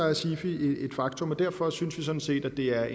er sifi et faktum og derfor synes vi sådan set at det er